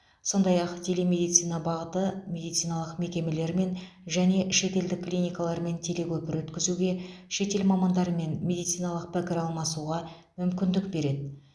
сондай ақ телемедицина бағыты медициналық мекемелер мен және шетелдік клиникалармен телекөпір өткізуге шетел мамандарымен медициналық пікір алмасуға мүмкіндік береді